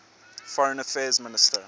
foreign affairs minister